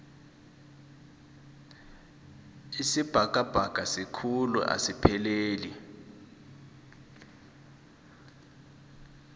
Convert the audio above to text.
isibhakabhaka sikhulu asipheleli